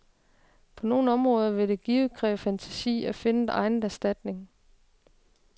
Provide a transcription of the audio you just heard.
På nogle områder vil det givet kræve fantasi at finde egnet erstatning.